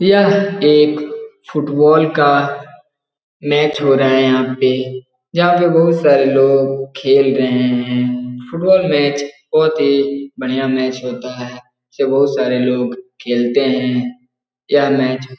यह एक फुटबॉल का मैच हो रहा है यहाँ पे । यहाँ पे बहुत सारे लोग खेल रहे हैं । फुटबॉल का मैच बहुत ही बढ़िया मैच होता है । बहुत सारे लोग खेलते हैं । यह मैच --